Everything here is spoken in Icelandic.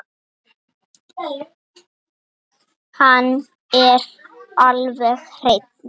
Hann er alveg hreinn.